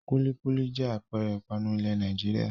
Kúlíkúlí jẹ́ àpẹẹrẹ ìpanu ilẹ̀ Nàìjíríà.